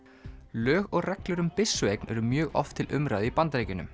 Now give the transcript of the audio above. lög og reglur um byssueign eru mjög oft til umræðu í Bandaríkjunum